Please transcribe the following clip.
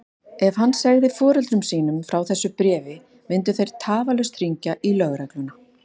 Ef hann segði foreldrum sínum frá þessu bréfi myndu þeir tafarlaust hringja í lögregluna.